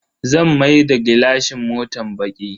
Zan maida gilashin motan baki.